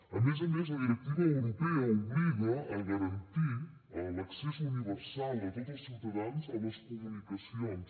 a més a més la directiva europea obliga a garantir l’accés universal de tots els ciutadans a les comunicacions